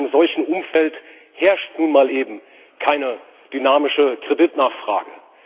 In einem solchen Umfeld herrscht nun mal eben keine dynamische Kreditnachfrage.